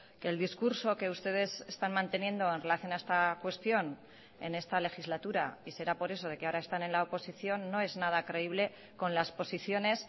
que el discurso que ustedes están manteniendo en relación a esta cuestión en esta legislatura y será por eso de que ahora están en la oposición no es nada creíble con las posiciones